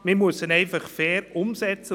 Man muss sie einfach fair umsetzen.